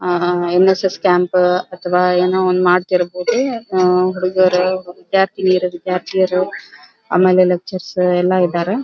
ಆಹ್ಹ್ NSS camp ಅಥವಾ ಏನೋ ಒಂದ್ ಮಾಡ್ತಿರಬಹುದು ಆಹ್ಹ್ ಹುಡುಗರು ವಿದ್ಯಾರ್ತಿನಿಯರು ವಿದ್ಯಾಥಿಯರು ಆಮೇಲೆ ಲಕ್ಟ್ನರ್ಸ್ ಎಲ್ಲ ಇದ್ದಾರೆ.